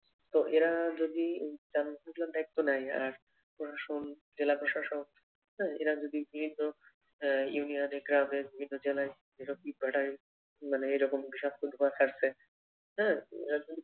তো এরা যদি তেমন দায়িত্ব নেয় প্রশাসন, জেলা প্রশাসক উম এরা যদি বিভিন্ন আহ ইউনিয়নে, গ্রামে, বিভিন্ন জেলায়, এসব ইট ভাটায় মানে এই রকম বিষাক্ত ধোয়া ছাড়ছে হ্যাঁ এরা যদি